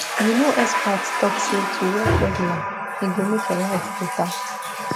you know experts talk say to walk regular e go make your life better